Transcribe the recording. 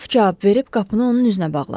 qraf cavab verib qapını onun üzünə bağladı.